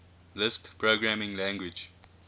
lisp programming language